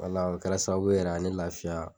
akun kɛra sababu ye yɛrɛ ka ne lafiya.